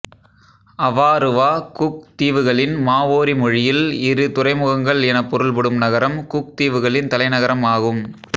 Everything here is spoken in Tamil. அவாருவா குக் தீவுகளின் மாவோரி மொழியில் இரு துறைமுகங்கள் என பொருள்படும் நகரம் குக் தீவுகளின் தலைநகரம் ஆகும்